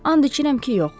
“And içirəm ki, yox.”